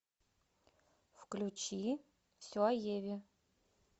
включи все о еве